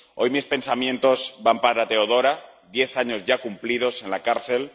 Hoy mis pensamientos van para Teodora, diez años ya cumplidos en la cárcel